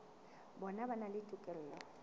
bona ba na le tokelo